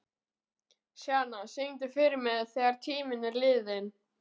Sjana, syngdu fyrir mig „Þegar tíminn er liðinn“.